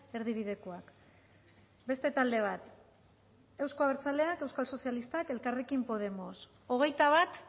erdibidekoak beste talde bat euzko abertzaleak euskal sozialistak elkarrekin podemos hogeita bat